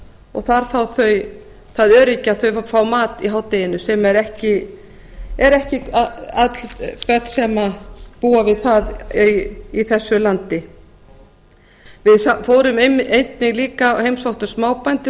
og þar fá þau það öryggi að fá mat í hádeginu sem ekki öll börn búa við í þessu landi við fórum líka og heimsóttum smábændur